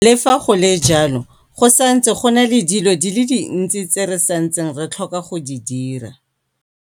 Le fa go le jalo, go santse go na le dilo di le dintsi tse re santseng re tlhoka go di dira.